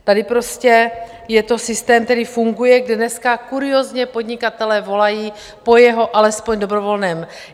Tady prostě je to systém, který funguje, kde dneska kuriózně podnikatelé volají po jeho alespoň dobrovolném...